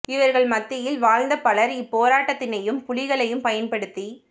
இவர்கள் மத்தியில் வாழ்ந்த பலர் இப்போராட்டத்தினையும் புலிகளையும் பயன்படுத்தி